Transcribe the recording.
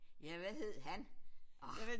Ja hvad hed han orh